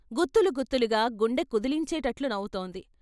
గుత్తులు గుత్తులుగా గుండె కుదిలించేటట్లు నవ్వుతోంది.